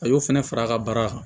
A y'o fana fara a ka baara kan